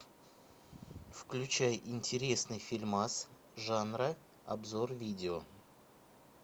включай интересный фильмас жанра обзор видео